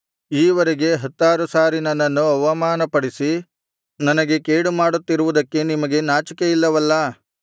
ಈವರೆಗೆ ಹತ್ತಾರು ಸಾರಿ ನನ್ನನ್ನು ಅವಮಾನಪಡಿಸಿ ನನಗೆ ಕೇಡುಮಾಡುತ್ತಿರುವುದಕ್ಕೆ ನಿಮಗೆ ನಾಚಿಕೆಯಿಲ್ಲವಲ್ಲಾ